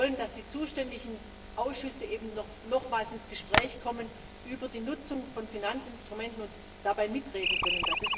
Wir wollen, dass die zuständigen Ausschüsse nochmals ins Gespräch kommen über die Nutzung von Finanzinstrumenten und dabei mitreden können.